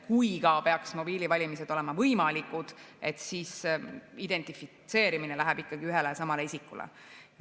Kui ka peaks mobiilivalimised olema võimalikud, siis identifitseerimine viitab ikkagi ühele ja samale isikule.